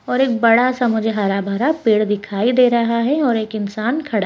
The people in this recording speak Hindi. और एक बड़ा-सा मुझे हरा-भरा पेड़ दिखाई दे रहा है और एक इन्सान खड़ा।